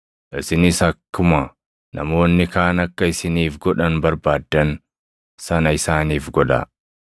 Isinis akkuma namoonni kaan akka isiniif godhan barbaaddan sana isaaniif godhaa.